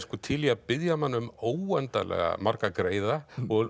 til í að biðja mann um óendanlega marga greiða